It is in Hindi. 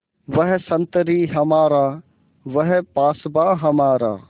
वह संतरी हमारा वह पासबाँ हमारा